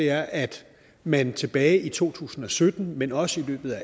er at man tilbage i to tusind og sytten men også i løbet af